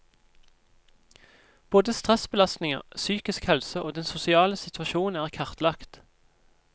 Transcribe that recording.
Både stressbelastninger, psykisk helse og den sosiale situasjon er kartlagt.